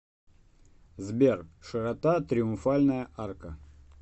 сбер широта триумфальная арка